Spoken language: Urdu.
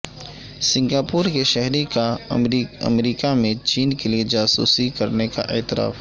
سنگاپور کے شہری کا امریکہ میں چین کے لیے جاسوسی کرنے کا اعتراف